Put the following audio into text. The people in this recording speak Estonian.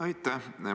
Aitäh!